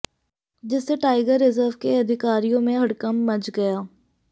जिससे tiger reserve के अधिकारियों में हड़कंप मच गया